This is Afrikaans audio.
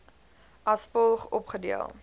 as volg opgedeel